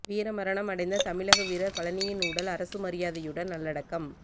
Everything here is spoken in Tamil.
வீரமரணம் அடைந்த தமிழக வீரர் பழனியின் உடல் அரசு மரியாதையுடன் நல்லடக்கம்